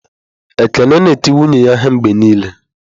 Ekene na-eti nwunye ya ihe mgbe niile.